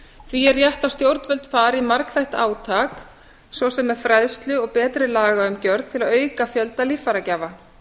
því er rétt að stjórnvöld fari í margþætt átak svo sem með fræðslu og betri lagaumgjörð til að auka fjölda líffæragjafa